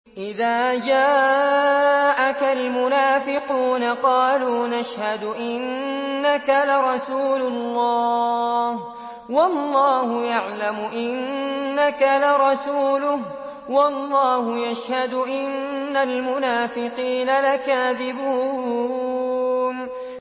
إِذَا جَاءَكَ الْمُنَافِقُونَ قَالُوا نَشْهَدُ إِنَّكَ لَرَسُولُ اللَّهِ ۗ وَاللَّهُ يَعْلَمُ إِنَّكَ لَرَسُولُهُ وَاللَّهُ يَشْهَدُ إِنَّ الْمُنَافِقِينَ لَكَاذِبُونَ